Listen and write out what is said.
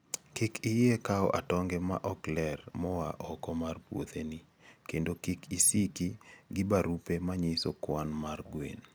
Kik iyie kawo atonge ma ok ler moa oko mar puotheni kendo kik isiki gi barupe manyiso kwan mar gwen